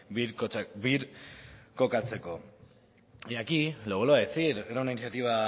birkokatzeko y aquí lo vuelvo a decir era una iniciativa